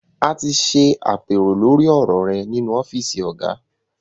A ti ṣe àpérò lórí ọ̀rọ̀ rẹ nínú ọ́fíìsì Ọ̀gá